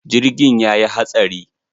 Jirgin ya yi hatsari.